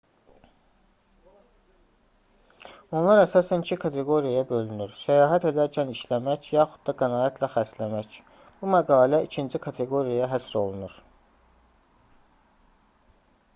onlar əsasən iki kateqoriyaya bölünür səyahət edərkən işləmək yaxud da qənaətlə xərcləmək bu məqalə ikinci kateqoriyaya həsr olunur